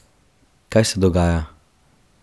Kaj se dogaja?